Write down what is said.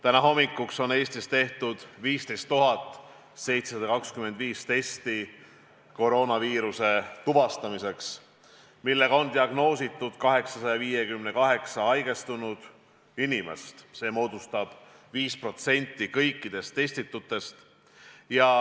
Täna hommikuks on Eestis tehtud 15 725 koroonaviiruse tuvastamise testi, millega on diagnoositud 858 haigestunud inimest, need moodustavad 5% kõikidest testitutest.